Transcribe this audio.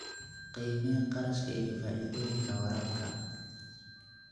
Qiimee kharashka iyo faa'iidooyinka waraabka.